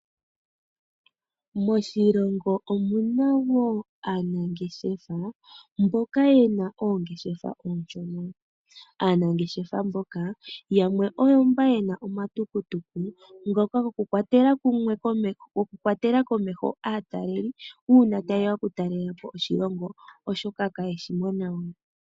Moshilongo omu na wo aanangeshefa mboka ye na oongeshefa oonshona. Aanangeshefa mboka yamwe oyo mba ye na omatukutuku ngoka gokukwatela komeho aatalelipo uuna taye ya okutalela po oshilongo, oshoka kaye shi mo nawa.